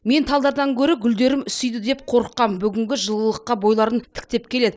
мен талдардан гөрі гүлдерім үсиді деп қорыққап бүгінгі жылылыққа бойларын тіктеп келеді